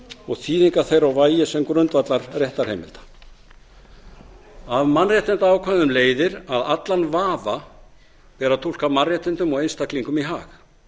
og þýðingar þeirra og vægi sem grundvallarréttarheimilda af mannréttindaákvæðum leiðir að allan vafa ber að túlka mannréttindum og einstaklingum í hag